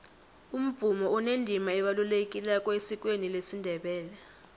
umvumo unendima ebalulekileko esikweni lesindebele